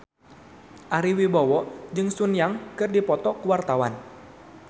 Ari Wibowo jeung Sun Yang keur dipoto ku wartawan